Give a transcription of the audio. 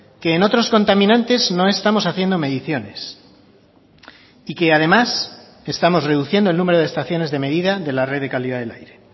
que en otros contaminantes no estamos haciendo mediciones y que además estamos reduciendo el número de estaciones de medida de la red de calidad del aire